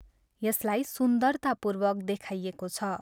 यसलाई सुन्दरतापूर्वक देखाइएको छ।